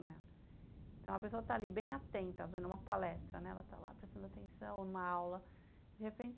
Então a pessoa está ali bem atenta, fazendo uma palestra, né, ela está lá prestando atenção em uma aula, de repente